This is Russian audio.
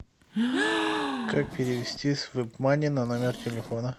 как перевести с веб мани на номер телефона